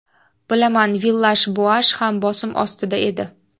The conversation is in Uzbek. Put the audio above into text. Bilaman, Villash-Boash ham bosim ostida edi.